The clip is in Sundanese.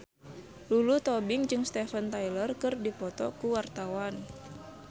Lulu Tobing jeung Steven Tyler keur dipoto ku wartawan